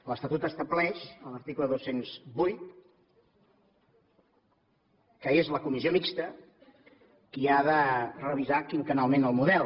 l’estatut estableix a l’article dos cents i vuit que és la comissió mixta qui ha de revisar quinquennalment el model